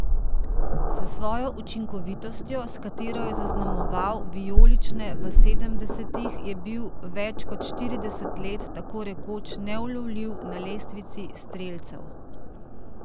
S svojo učinkovitostjo, s katero je zaznamoval vijolične v sedemdesetih, je bil več kot štirideset let tako rekoč neulovljiv na lestvici strelcev.